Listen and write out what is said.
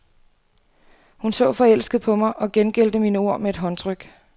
Hun så forelsket på mig og gengældte mine ord med at håndtryk.